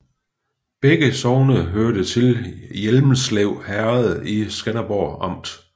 Begge sogne hørte til Hjelmslev Herred i Skanderborg Amt